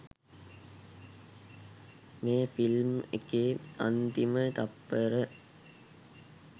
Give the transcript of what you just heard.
මේ ෆිල්ම් එකේ අන්තිම තත්පර